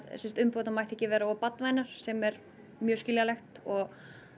umbúðirnar megi ekki vera of sem er mjög skiljanlegt og